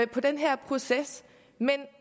på den her proces men